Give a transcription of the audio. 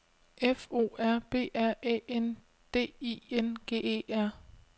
F O R B R Æ N D I N G E R